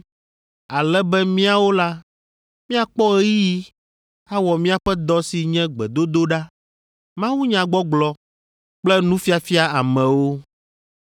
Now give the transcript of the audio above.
ale be míawo la, míakpɔ ɣeyiɣi awɔ míaƒe dɔ si nye gbedodoɖa, mawunyagbɔgblɔ kple nufiafia amewo.”